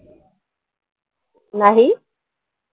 नाही